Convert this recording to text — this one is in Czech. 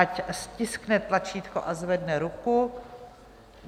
Ať stiskne tlačítko a zvedne ruku.